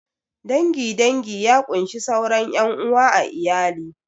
Dangin dangi ya kunshi sauran ƴan uwa a iyali